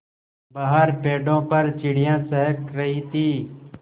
बाहर पेड़ों पर चिड़ियाँ चहक रही थीं